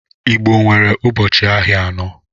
Igbo nwere ụbọchị ahịa anọ